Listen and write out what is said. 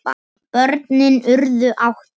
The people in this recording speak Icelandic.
Börnin urðu átta.